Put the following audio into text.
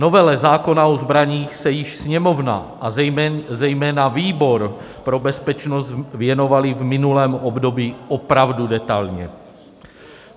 Novele zákona o zbraních se již Sněmovna a zejména výbor pro bezpečnost věnovaly v minulém období opravdu detailně.